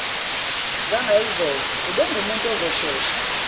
zangayizolo ubengumuntu ozoshesha